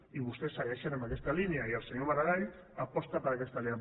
i vostès segueixen en aquesta línia i el senyor maragall aposta per aquesta línia